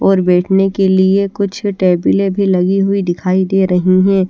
और बेठने के लिए कुछ टेबले भी लगी हुई दिखाई दे र्रही हे।